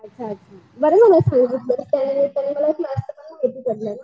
अच्छा अच्छा